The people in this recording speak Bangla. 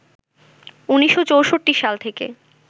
১৯৬৪ সাল থেকে